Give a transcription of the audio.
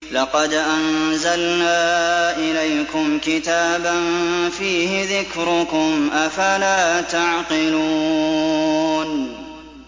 لَقَدْ أَنزَلْنَا إِلَيْكُمْ كِتَابًا فِيهِ ذِكْرُكُمْ ۖ أَفَلَا تَعْقِلُونَ